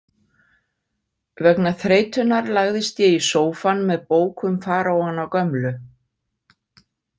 Vegna þreytunnar lagðist ég í sófann með bók um faraóana gömlu.